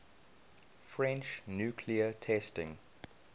french nuclear testing